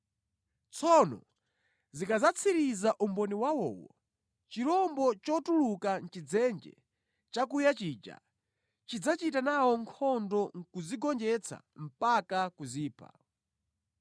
Tsono zikadzatsiriza umboni wawowo, chirombo chotuluka mʼChidzenje chakuya chija chidzachita nawo nkhondo nʼkuzigonjetsa mpaka kuzipha.